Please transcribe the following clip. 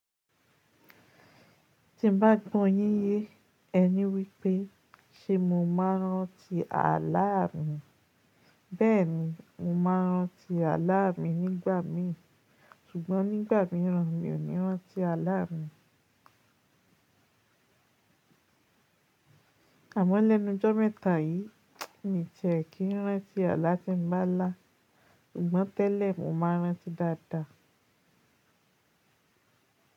Ti n bá gbọ́ yín yé, ẹ ní wípé ṣe mo máa ránti àlá mi. Bẹ́ẹ̀ni, mo ma ránti àlá mi nígbà míì ṣùgbọ́n nígbà míràn mi o ní rán ti àlá mi. Àmọ́ lẹ́nu ọjọ́ mẹ́ta yìí, mi tẹ̀ kí n rán ti àlá tí n bá lá, ṣùgbọ́n tẹ́lẹ̀ mo ma rán ti dáadáa.